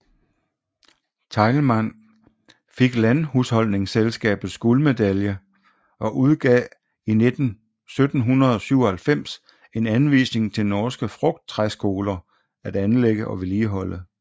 Teilman fik Landhusholdningsselskabets guldmedalje og udgav 1797 en Anvisning til norske Frugttræskoler at anlægge og vedligeholde